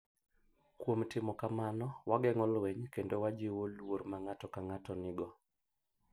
Kuom timo kamano, wageng’o lweny kendo wajiwo luor ma ng’ato ka ng’ato nigo.